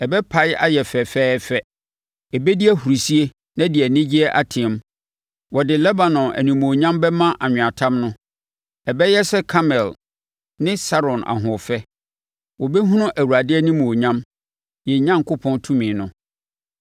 ɛbɛpae ayɛ fɛɛfɛɛfɛ; ɛbɛdi ahurisie na ɛde anigyeɛ ateam. Wɔde Lebanon animuonyam bɛma anweatam no. Ɛbɛyɛ sɛ Karmel ne Saron ahoɔfɛ; wɔbɛhunu Awurade animuonyam, yɛn Onyankopɔn tumi no.